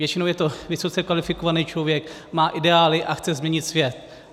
Většinou je to vysoce kvalifikovaný člověk, má ideály a chce změnit svět.